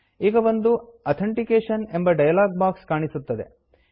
ಈಗ ಒಂದು authentication authentication ಎಂಬ ಡಯಲಾಗ್ ಬಾಕ್ಸ್ ಕಾಣಿಸುತ್ತದೆ